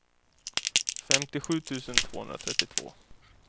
femtiosju tusen tvåhundratrettiotvå